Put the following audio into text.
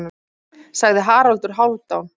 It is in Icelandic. sagði Haraldur Hálfdán.